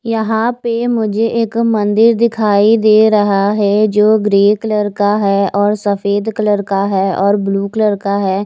यहां पे मुझे एक मंदिर दिखाई दे रहा है जो ग्रे कलर का है और सफेद कलर का है और ब्लू कलर का है।